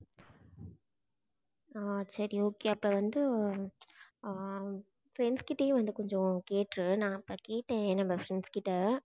ஆஹ் சரி okay அப்போ வந்து ஆஹ் friends கிட்டயும் வந்து கொஞ்சம் கேட்டுட்டு நான் அப்போ கேட்டேன் நம்ம friends கிட்ட